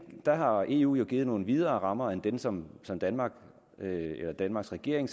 der har eu jo givet nogle videre rammer end dem som som danmarks danmarks regering